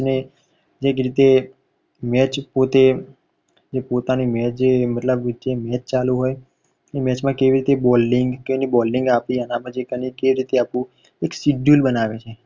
જેવીક રીતે match પોતે પોતાની match જે મતલબ જે match ચાલુ હોય ઇ match માં કેવીરીતે bolding કેવીરીતે bolding આપવી એના પછી planning કેવી રીતે આપવું એક schedule બનાવે છે.